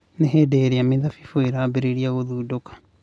Nĩ hĩndĩ ĩrĩa mĩthabibũ ĩrambĩrĩria gũthundũka.